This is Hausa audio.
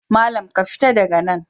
Malam, ka fita daga nan!